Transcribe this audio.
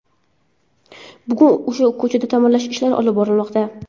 Bugun ushbu ko‘chada ta’mirlash ishlari olib borilmoqda.